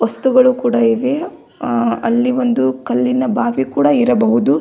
ವಸ್ತುಗಳು ಕೂಡ ಇವೆ ಅ ಅಲ್ಲಿ ಒಂದು ಕಲ್ಲಿನ ಬಾವಿ ಕೂಡ ಇರಬಹುದು.